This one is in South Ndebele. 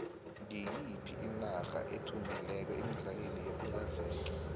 ngiyiphi inarda ethumbileko emidlalweni yepelaueke